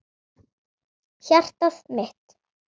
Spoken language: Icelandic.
Hjartað mitt,